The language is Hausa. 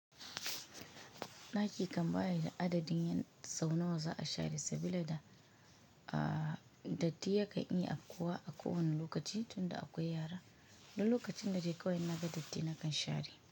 Ɗaki kam bayi da adadin sau nawa za a share sabila da datti yakan iya abkuwa akowani lokaci tunda akwai yara, du lokaci da dai akwai naga datti, nakan share.